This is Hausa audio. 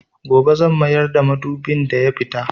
Gobe zan mayar da madubin da ya fita.